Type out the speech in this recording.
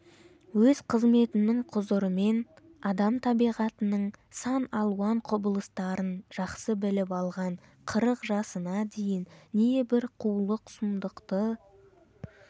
өз қызметінің құзырымен адам табиғатының сан алуан құбылыстарын жақсы біліп алған қырық жасына дейін небір қулық-сұмдықты